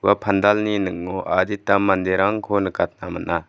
ua pandalni ning·o adita manderangko nikatna man·a.